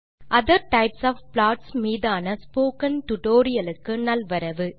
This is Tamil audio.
hello friends other types of plots மீதான டியூட்டோரியல் க்கு நல்வரவு